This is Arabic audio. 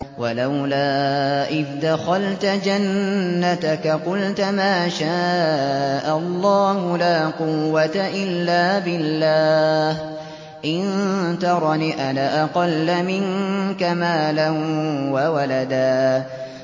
وَلَوْلَا إِذْ دَخَلْتَ جَنَّتَكَ قُلْتَ مَا شَاءَ اللَّهُ لَا قُوَّةَ إِلَّا بِاللَّهِ ۚ إِن تَرَنِ أَنَا أَقَلَّ مِنكَ مَالًا وَوَلَدًا